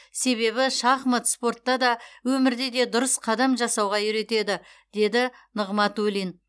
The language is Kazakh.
себебі шахмат спортта да өмірде де дұрыс қадам жасауға үйретеді деді нығматулин